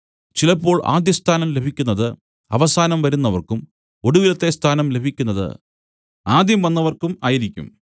ചിലപ്പോൾ ആദ്യസ്ഥാനം ലഭിക്കുന്നതു അവസാനം വരുന്നവർക്കും ഒടുവിലത്തെ സ്ഥാനം ലഭിക്കുന്നതു ആദ്യം വന്നവർക്കും ആയിരിക്കും